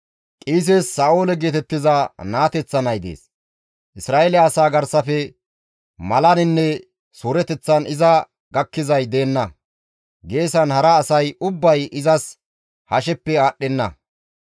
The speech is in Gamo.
Qiises Sa7oole geetettiza naateththa nay dees; Isra7eele asaa garsafe malaninne suureteththan iza gakkizay deenna; geesan hara asay ubbay izas hasheppe aadhdhenna.